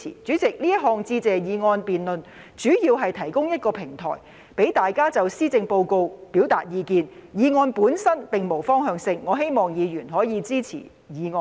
主席，這項致謝議案辯論主要是提供一個平台，讓大家就施政報告表達意見，議案本身並無方向性，我希望議員可以支持議案。